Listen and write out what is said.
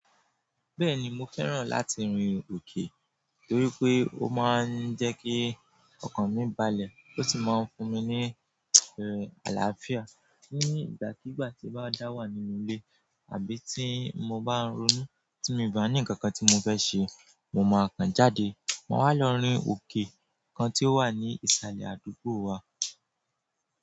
Bẹ́ẹ̀ni mo fẹ́ràn láti rin òkè torí pé ó máa ń jẹ́ kí ọkàn mi balẹ̀ ó sì máa ń fún mi ní, er, àlàáfíà. Ní ìgbàkígbà tí bá dá wà nínú ilé àbí tí mo bá ń ronú tí mo bá ní ǹkan kan tí mo fẹ́ ṣe, mo máa kan jáde, mo wá lọ rin òkè kan tí ó wà ní ìsàlẹ̀ àdúgbò wa.